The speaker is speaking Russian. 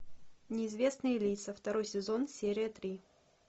неизвестные лица второй сезон серия три